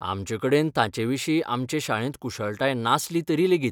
आमचेकडेन तांचेविशीं आमचे शाळेंत कुशळटाय नासली तरी लेगीत.